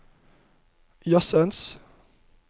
jazzens